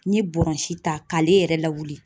N ye bɔrɔnsi ta k'ale yɛrɛ lawili